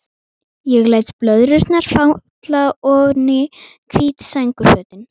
Ég læt blöðrurnar falla oní hvít sængurfötin.